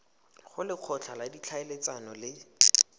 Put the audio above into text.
go lekgotla la ditlhaeletsano le